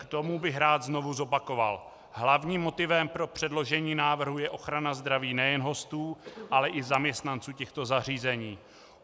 K tomu bych rád znovu zopakoval - hlavním motivem pro předložení návrhu je ochrana zdraví nejen hostů, ale i zaměstnanců těchto zařízení.